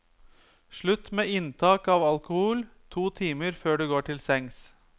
Slutt med inntak av alkohol to timer før du går til sengs.